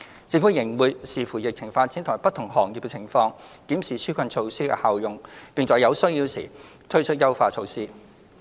政府仍會視乎疫情發展及不同行業的情況，檢視紓困措施的效用，並在有需要時推出優化措施。